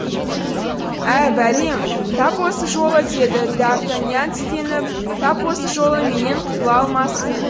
ә бәлем тап осы жолы деді д артаньян тістеніп тап осы жолы менен құтыла алмассың